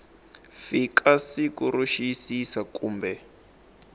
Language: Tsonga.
fika siku ro xiyisisa kumbe